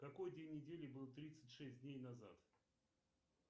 какой день недели был тридцать шесть дней назад